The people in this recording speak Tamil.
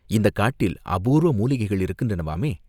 இந்தக் காட்டில் அபூர்வ மூலிகைகள் இருக்கின்றனவாமே?